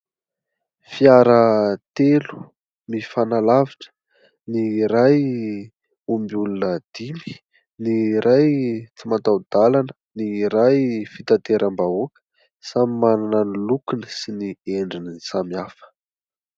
Fiara telo mifanalavitra : ny iray omby olona dimy, ny iray tsy mataho-dalana, ny iray fitateram-bahoaka, samy manana ny lokony sy ny endriny samihafa.